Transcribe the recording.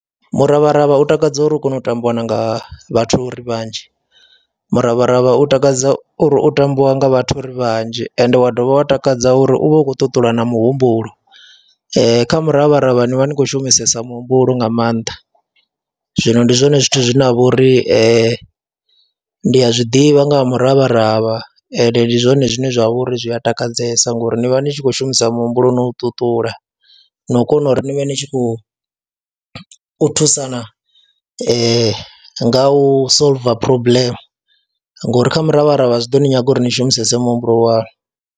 Miravharavha u takadza uri u kona u tambiwa na nga vhathu ri vhanzhi, muravharavha u takadza uri u tambiwa nga vhathu uri vhanzhi ende wa dovha wa takadza uri u vha u khou ṱuṱula na muhumbulo. Kha miravharavha ni vha ni khou shumisesa muhumbulo nga maanḓa, zwino ndi zwone zwithu zwine ha vha uri ndi a zwi ḓivha nga ha muravharavha ende ndi zwone zwine zwa vha uri zwi a takadzesa ngori ni vha ni tshi khou shumisa muhumbulo no u ṱuṱula na u kona uri ni vha ni tshi khou thusana nga u solver problem ngori kha miravharavha zwi ḓo ni nyaga uri ni shumisese muhumbulo waṋu.